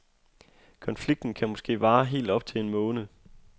Konflikten kan måske vare helt op til en måned.